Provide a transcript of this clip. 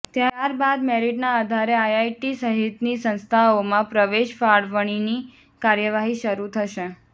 ત્યારબાદ મેરિટના આધારે આઈઆઈટી સહિતની સંસ્થાઓમાં પ્રવેશ ફાળવણીની કાર્યવાહી શરૂ થશે